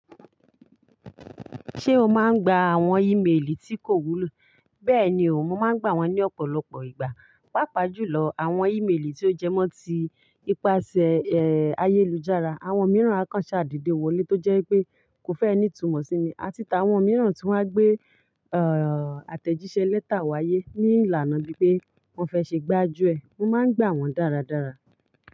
Ṣé o máa ń gba àwọn ìméèlì tí kò wúlò? Bẹ́ẹ̀ni, mò ń máa ń gbà wọ́n ní ọ̀pọ̀lọpọ̀ ìgbà, pàápà jùlọ àwọn ìméèlì tí ó jẹ́ mọ́ tí ipasẹ̀ ayélujára. Àwọn mìíràn á kàn ṣàdede wọlé tó jẹ́ pé kò fẹ́ e ni itúmọ̀ sí mi, à ti ti àwọn mìíràn tí wọ́n á gbé àtẹ̀jíṣẹ́ lẹ́tà wáyé ní ìlànà bíi pé wọ́n fẹ́ ṣe gbájú ẹ̀, mò ń máa ń gbà wọ́n dáradára.